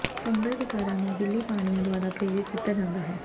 fungal ਵਿਕਾਰਾਂ ਨੂੰ ਗਿੱਲੀ ਪਾਣੀਆਂ ਦੁਆਰਾ ਪ੍ਰੇਰਿਤ ਕੀਤਾ ਜਾਂਦਾ ਹੈ